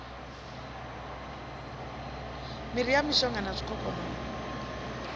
miri ya mishonga na zwikhokhonono